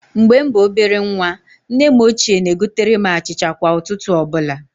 Mgbe m bụ ọbere nwa, nne m ochie na-egotere m achịcha kwa ụtụtụ ọbụla.